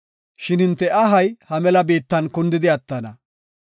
Shin hinte ahay ha mela biittan kundidi attana.